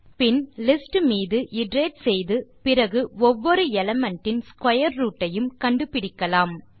பின் list மீது iterate செய்து அப்புறம் ஒவ்வொரு எலிமெண்ட் இன் ஸ்க்வேர் ரூட் ஐயும் கண்டு பிடிக்கலாம்